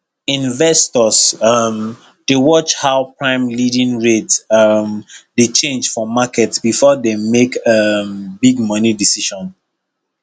investors um dey watch how prime lending rate um dey change for market before dem make um big money decision